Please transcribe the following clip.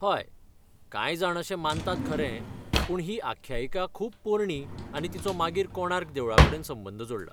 हय, कांय जाण अशें मानतात खरें, पूण ही आख्यायिका खूब पोरणी आनी तिचो मागीर कोणार्क देवळाकडेन संबंद जोडला.